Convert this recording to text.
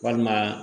Walima